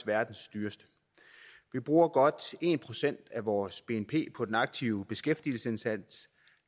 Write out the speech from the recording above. verdens dyreste vi bruger godt en procent af vores bnp på den aktive beskæftigelsesindsats